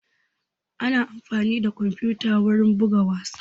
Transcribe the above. Ana amfani da kwamfuta wurin buga wasa